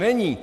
Není.